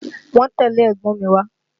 Wọ́n tẹ́lẹ̀ ẹ̀gbọ́n mi wá